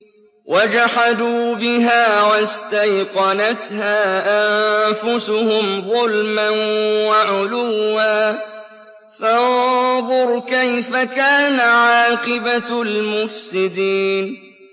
وَجَحَدُوا بِهَا وَاسْتَيْقَنَتْهَا أَنفُسُهُمْ ظُلْمًا وَعُلُوًّا ۚ فَانظُرْ كَيْفَ كَانَ عَاقِبَةُ الْمُفْسِدِينَ